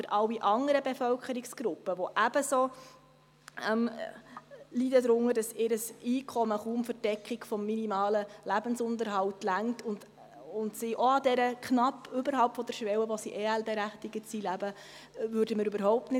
Für alle anderen Bevölkerungsgruppen aber, die ebenso darunter leiden, dass deren Einkommen kaum zur Deckung des minimalen Lebensunterhalts reichen und die auch knapp oberhalb der Schwelle, die sie zum Bezug von EL berechtigen würde, leben, lösten wir das Problem überhaupt nicht.